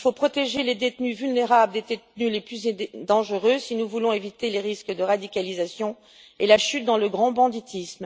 Il faut protéger les détenus vulnérables des détenus les plus dangereux si nous voulons éviter les risques de radicalisation et la chute dans le grand banditisme.